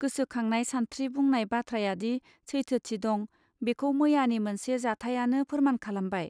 गोसोखांनाय सानस्त्रि बुंनाय बाथ्रायादि सैथोथि दं बेखौ मैयानि मोनसे जाथायानो फोरमान खालामबाय